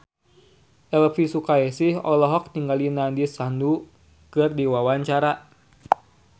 Elvi Sukaesih olohok ningali Nandish Sandhu keur diwawancara